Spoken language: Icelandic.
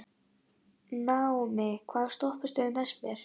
Naómí, hvaða stoppistöð er næst mér?